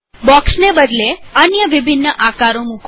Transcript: બોક્સને બદલે અન્ય વિભિન્ન આકારો મુકો